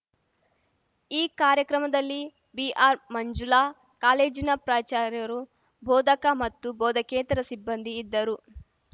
ಈ ಕಾರ್ಯಕ್ರಮದಲ್ಲಿ ಬಿಆರ್‌ಮಂಜುಲಾ ಕಾಲೇಜಿನ ಪ್ರಾಚಾರ್ಯರು ಬೋಧಕ ಮತ್ತು ಬೋಧಕೇತರ ಸಿಬ್ಬಂದಿ ಇದ್ದರು